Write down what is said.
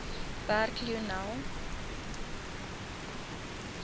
werk lionel